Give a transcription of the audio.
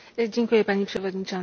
Pani Przewodnicząca!